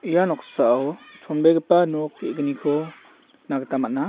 ia noksao chonbegipa nok ge·gniko nikna gita man·a.